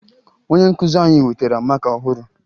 Onye nkụzi anyị wetara maka ọhụrụ